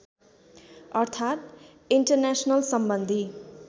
अर्थात् इन्टरनेसनल सम्बन्धी